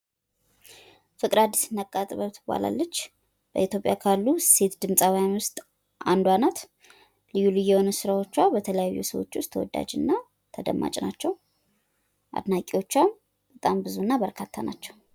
ፍቅረ አዲስ ነቅዓ ጥበብ ትባላለች። ኢትዮጵያ ውስጥ ካሉ ሴት ዘፋኞች ውስጥ አንዷ ናት ።ልዩ ልዩ የሆኑ ስራዎቿ በተለያዩ ስዎች ውስጥ ተወዳጅ እና ተደማጭ ናቸው። አድናቂወቿም በጣም ብዙ እና በርካታ ናቸው።